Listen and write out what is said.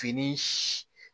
Fini